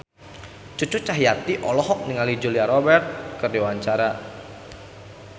Cucu Cahyati olohok ningali Julia Robert keur diwawancara